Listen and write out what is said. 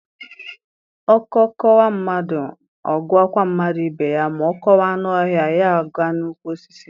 Ọkọ kọwa mmadụ, ọ gakwụ mmadụ ibe ya, ma ọ kọwa anụ ọhịa, ya aga n’ukwu Osisi